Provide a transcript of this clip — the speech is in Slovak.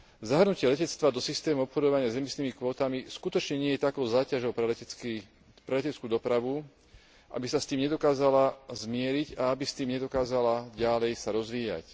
Zahrnutie letectva do systému obchodovania s emisnými kvótami skutočne nie je takou záťažou pre leteckú dopravu, aby sa s tým nedokázala zmieriť a aby s tým nedokázala ďalej sa rozvíjať.